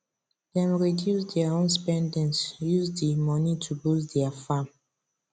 dem reduce dia own spendings use di money to boost dia farm